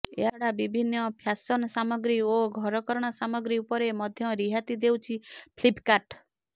ଏହାଛଡା ବିଭିନ୍ନ ଫ୍ୟାସନ ସାମଗ୍ରୀ ଓ ଘରକରଣା ସାମଗ୍ରୀ ଉପରେ ମଧ୍ୟ ରିହାତି ଦେଉଛି ଫ୍ଲିପକାର୍ଟ